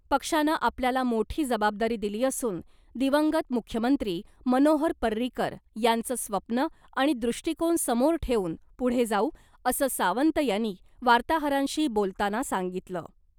पक्षानं आपल्याला मोठी जबाबदारी दिली असून दिवंगत मुख्यमंत्री मनोहर पर्रीकर यांचं स्वप्न आणि दृष्टीकोन समोर ठेऊन पुढे जाऊ, असं सावंत यांनी वार्ताहरांशी बोलताना सांगितलं .